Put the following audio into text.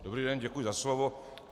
Dobrý den, děkuji za slovo.